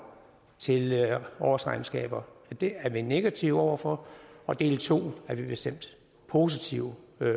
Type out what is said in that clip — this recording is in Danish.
til årsregnskaber og det er vi negative over for og del to er vi bestemt positive